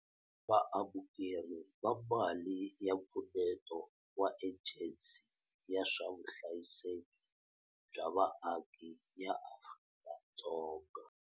Vaamukeri va mali ya mpfuneto wa Ejensi ya swa Vuhlayiseki bya Vaaki ya Afrika-Dzonga.